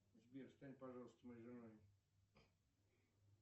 сбер стань пожалуйста моей женой